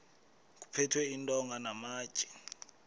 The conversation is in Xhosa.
kuphethwe iintonga namatye